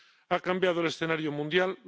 Ha cambiado el escenario mundial.